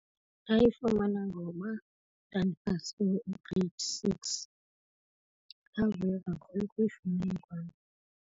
Ndayifumana ngoba ndandipase u-grade six. Ndavuya kakhulu ukuyifumana kwam.